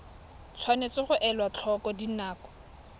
tshwanetse ga elwa tlhoko dinako